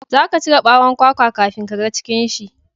za ka cire bawon kwakwa kafin ka ga cikin shi